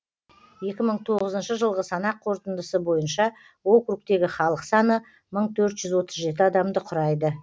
екі мың тоғызыншы жылғы санақ қорытындысы бойынша округтегі халық саны мың төрт жүз отыз жеті адамды құрайды